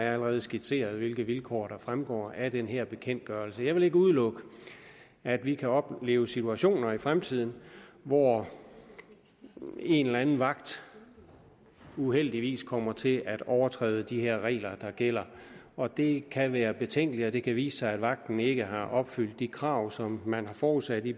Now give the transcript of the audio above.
er allerede skitseret hvilke vilkår der fremgår af den her bekendtgørelse jeg vil ikke udelukke at vi kan opleve situationer i fremtiden hvor en eller anden vagt uheldigvis kommer til at overtræde de regler der gælder og at det kan være betænkeligt det kan vise sig at vagten ikke har opfyldt de krav som man har forudsat i